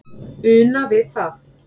una við það